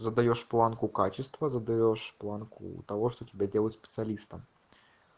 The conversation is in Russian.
задаёшь планку качества задаёшь планку того что тебя делает специалистом